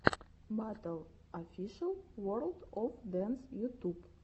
батл офишел ворлд оф дэнс ютуб